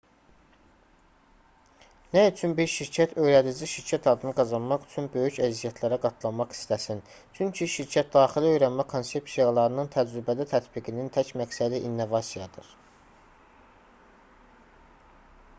nə üçün bir şirkət öyrədici şirkət adını qazanmaq üçün böyük əziyyətlərə qatlanmaq istəsin çünki şirkətdaxili öyrənmə konsepsiyalarının təcrübədə tətbiqinin tək məqsədi innovasiyadır